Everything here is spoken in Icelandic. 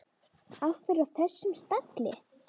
Af hverju á þessum stalli?